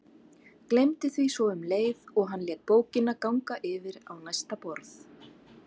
Gleymdi því svo um leið og hann lét bókina ganga yfir á næsta borð.